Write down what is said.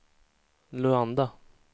Luanda